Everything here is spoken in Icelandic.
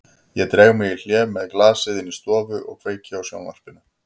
Ég dreg mig í hlé með glasið inn í stofu og kveiki á sjónvarpinu.